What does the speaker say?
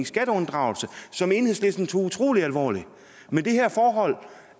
skatteunddragelse som enhedslisten tog utrolig alvorligt men det her forhold